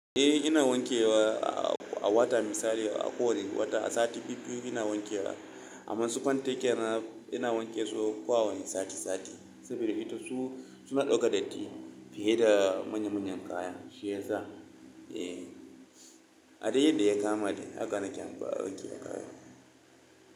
Eh ina wanke wa a wata misali a kowane wata, a sati biyu-biyu ina wanke wa. Amma su fanten kyarana ina wanke su kowane sati sati, saboda ita su suna ɗauka datti fiye da manya-manyan kaya, shi yasa. Eh, ade yad da ya kama dai haka nake amfani da kayan.